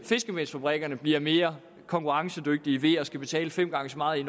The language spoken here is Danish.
fiskemelsfabrikkerne bliver mere konkurrencedygtige ved at skulle betale fem gange så meget